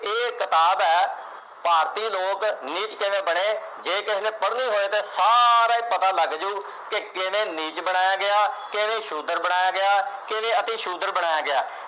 ਇਹ ਕਿਤਾਬ ਹੈ ਭਾਰਤੀ ਲੋਕ ਨੀਚ ਕਿਵੇਂ ਬਣੇ, ਜੇ ਕਿਸੇ ਨੇ ਪੜ੍ਹਨੀ ਹੋਏ ਤੇ ਸਾਰੇ ਪਤਾ ਲੱਗ ਜੂ, ਕਿ ਕਿਵੇਂ ਨੀਚ ਬਣਾਇਆ ਗਿਆ, ਕਿਵੇਂ ਸ਼ੁਦਰ ਬਣਾਇਆ ਗਿਆ, ਕਿਵੇਂ ਅਤੀ-ਸ਼ੂਦਰ ਬਣਾਇਆ ਗਿਆ ।